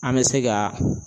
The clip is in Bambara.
An bɛ se ka